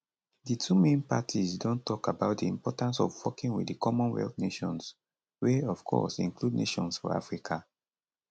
di two main parties don tok about di importance of working wit di commonwealth nations wey of course include nations for africa